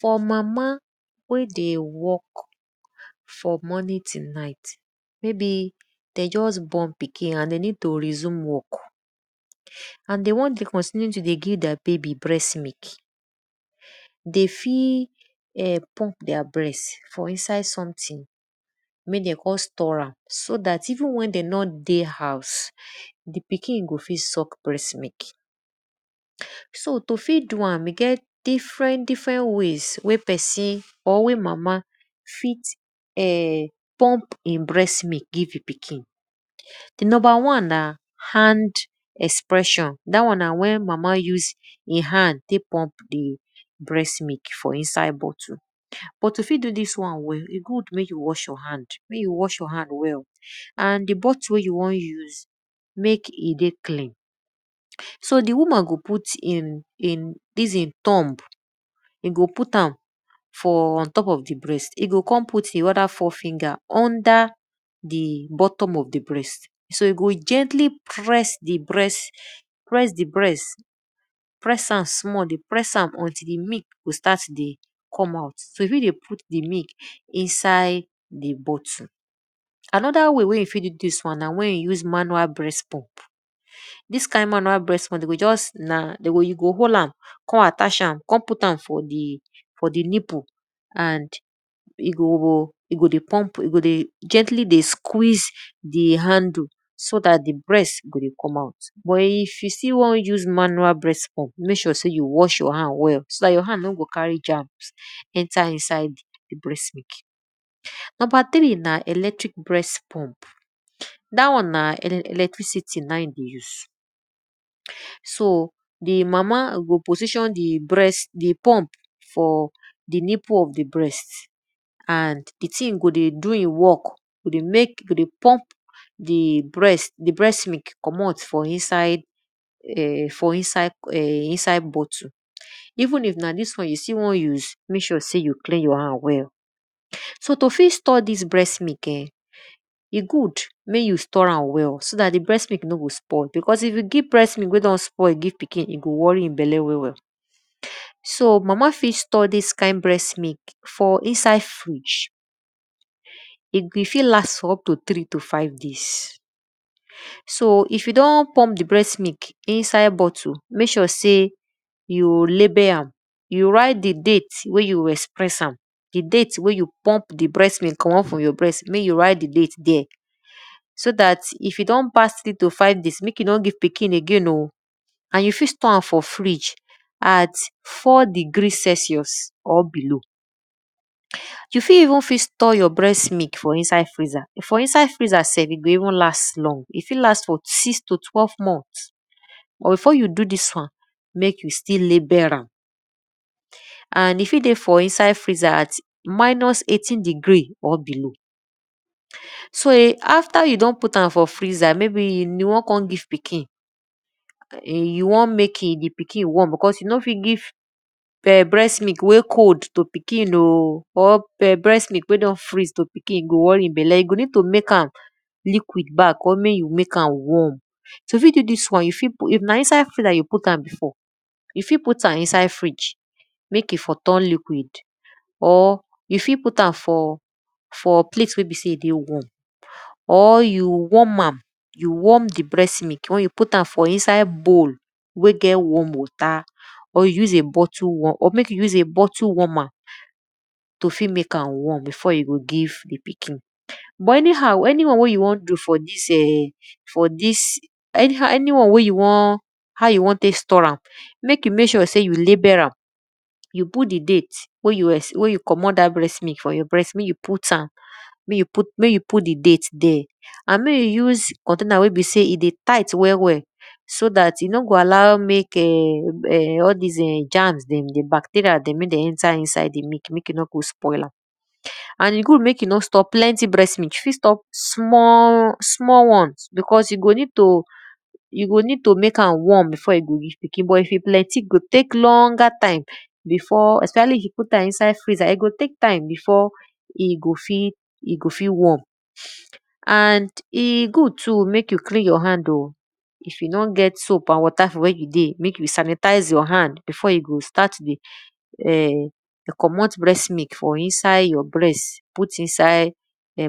For mama wey dey work from morning to night maybe de just born pikin and de need to resume work and de won de continue to dey give their baby breast milk, de fi put their breast for inside something wey den call storer so dat even wen de nor dey house, di pikin go fit suck breast milk. So to fit do am, e get different different way wey pesin or wey mama fit[um]pump in breast milk give e pikin. Numbr one na hand expression, dat one na wen mama use e hand tek pump di breast mik for inside bottle. But you fit do dis one but mey you wash your hand mek you was your hand well and di bottle wey you won use, mek e dey clean so di woman go put dis e tongue, e go put am for ontop of di breast e go kon put e other four finger under di buttom of di breast so e go gently press di breast until di milk go start to dey come out. So e fit dey put di mik inside di bottle. Anoda way wey you fit do dis one na wen you use manual breast pump. Dis kind manual reast pump de go just dey go you go hold am kon attach am kon put am for di nipple and e go e go dey pum e go dey gently ey squeeze di handle so dat di breast go dey come out but if e still won use manual breast pump mek sure sey you wash yor hand well so dat your hand no go carry germs enter inside di breast milk. Number three na electric breast pup, da won na electricity na in e dey use, so di mama go position di breast di pump for di nipple of di breast and di thing go dey do e work go dey mek go dey pump di breast milk commot for inside bottle. Even if na dis won you still won use, mek sure sey yo clean your hand well. So to fit store dis breast milk[um], e good mek you store am well, so dat di breast milk no go spoil because if ypu give breast milk wey don spoil give pikin, e go worry e belle well well. So mama fit store dis kind breast milk for inside fridge, e ft last for up to three to five days, so if you don pump di breast milk inside bottle mek sure sey you label am, you write di date wey you express am, di date wen you pump di breast milk commot from your breast, you write di dte there so dat if e don pass eight or five days, mek you no give pikin again o. and you fit store am for fridge at four degree Celsius or below. You fit even store your breast milk for inside freezer for self e fit even last long,. For inside freezer sef, e fit even last for six t twelve moth but before you do dis won, mek you still label am and e fit dey for inside freezer for minus eighteen degree and below. So after e don dey for inside freezer and you won kon give pikin, you won mek di pikin warm because you no fit give breast milk wey cold to pikin o or breast mik wey don freez to pikin e go worry e belle, you go need to mek am liquid back or mek you mek amd warm.if na inside freezer you put am before, you fit put am inside fridge mek e fo turn liquid or you fit put am for plate wen be sey e dey warm or you warm am you warm di breast milk wen you put am for inside bowl wey get wasrm water or mek you use bottle warmer to fit mek am warm before you go give di pikin. But any one wey you won do for dis[um]for dis an y one wey you won how you won t5ek store am, mek you mek sure sey you label am, you put di date mek you commot dat breast milk mek you put am mek you put di date and mek you use container wey e dey tight well well so dat e no go allow mek[um]all dis[um]germs dem dey enter iside di milk mek e nor go spoil am. And e good mek e nor stop plenty breast milk, e fit store small one because you go need to mek am warm, before you go give pikin but if e plenty, e go tek longer time especially if you put am inside freezer e go tek time before e go fit warm. And e good too mek you clean your hand o if you don get soup and water mek you sanitize your hand before you go start to commot breast milk for inside your breast put inside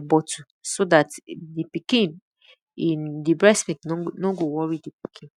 bottle so dat di pikin, di breast milk no go worry di pikin.